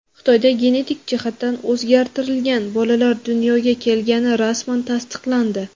Xitoyda genetik jihatdan o‘zgartirilgan bolalar dunyoga kelgani rasman tasdiqlandi.